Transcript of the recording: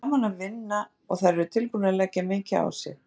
Það er gaman að vinna og þær eru tilbúnar að leggja mikið á sig.